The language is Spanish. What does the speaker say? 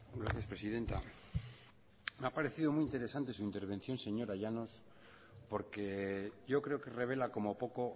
gracias presidenta me ha parecido muy interesante su intervención señora llanos porque yo creo que revela como poco